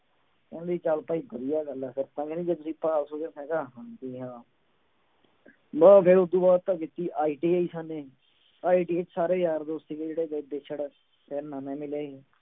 ਕਹਿੰਦੀ ਚੱਲ ਭਾਈ ਵਧੀਆ ਗੱਲ ਆ ਫਿਰ ਤਾਂ ਕਹਿੰਦੀ ਜੇ ਤੁਸੀਂ ਪਾਸ ਹੋ ਗਏ ਮੈਂ ਕਿਹਾ ਹਾਂਜੀ ਹਾਂ ਲਓ ਫਿਰ ਉਹ ਤੋਂ ਬਾਅਦ ਤਾਂ ਕੀਤੀ ITI ਅਸਾਂ ਨੇ ITI ਚ ਸਾਰੇ ਯਾਰ ਦੋਸਤ ਸੀਗੇ ਜਿਹੜੇ ਗਏ ਵਿੱਛੜ ਫਿਰ ਨਵੇਂ ਮਿਲੇ ਸੀ।